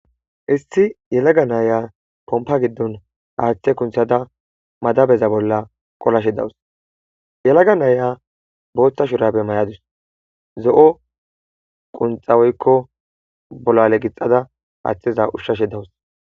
Issi yelaga naya pompa gidon haththe kinththada madabeza bolla qolashshe dawus yelaga naya boththa shurabe mayadus zo"o qonxa gixadus